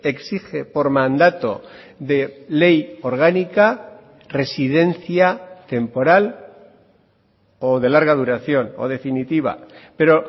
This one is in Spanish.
exige por mandato de ley orgánica residencia temporal o de larga duración o definitiva pero